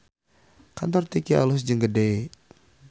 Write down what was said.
Kantor Tiki alus jeung gede